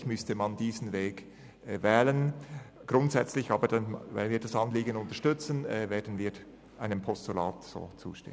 Um das Anliegen jedoch grundsätzlich zu unterstützen, werden wir einem Postulat zustimmen.